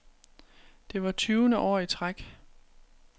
Det var tyvende år i træk.